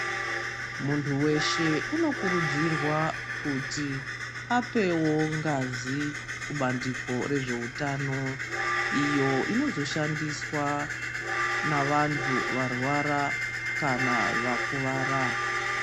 Muntu veshe unokurudzirwa kuti apevo ngazi kubandiko rezveutano. Iyo inozoshandiswa navantu varwara kana vakuvara.